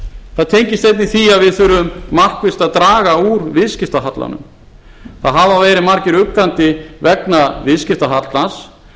það tengist einnig því að við þurfum markvisst að draga úr viðskiptahallanum það hafa verið margir uggandi vegna viðskiptahallans